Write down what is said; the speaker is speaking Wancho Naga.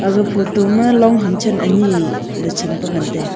ag photo ma longham chan ani le cham pe ngan taiga.